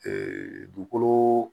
dugukolo